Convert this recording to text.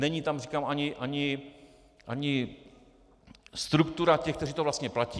Není tam, říkám, ani struktura těch, kteří to vlastně platí.